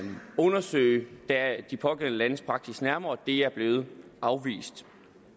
undersøge de pågældende landes praksis nærmere det er blevet afvist